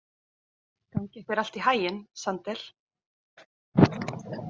Gangi þér allt í haginn, Sandel.